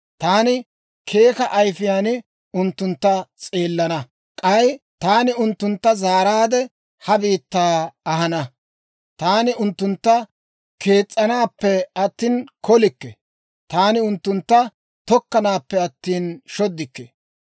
Taani keeka ayifiyaan unttuntta s'eelana; k'ay taani unttuntta zaaraadde ha biittaa ahana. Taani unttuntta kees's'anappe attina kolikke. Taani unttuntta tokkanaappe attina shoddikke.